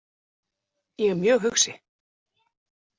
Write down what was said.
Ég er mjög hugsi.